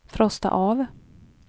frosta av